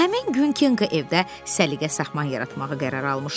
Həmin gün Kenqa evdə səliqə-sahman yaratmağa qərar almışdı.